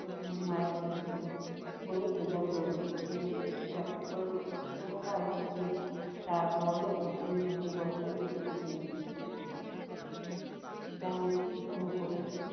তিনি মারা গিয়েছিলেন। বলে যুদ্ধ ফুরাইছে। যদিও একটু ব্যতিক্রম বিশ্বাস করা হয় যে তারপরেও তিনি বহু বছর বেঁচেছিলেন। তার মৃত্যুর সন্নিকটে